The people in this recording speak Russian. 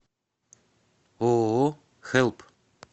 ооо хэлп